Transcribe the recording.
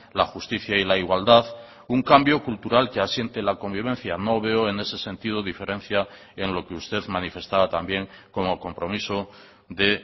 la justicia y la igualdad un cambio cultural que asiente la convivencia no veo en ese sentido diferencia en lo que usted manifestaba también como compromiso de